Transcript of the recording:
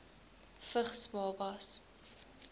vigs babas